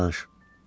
Yenə danış.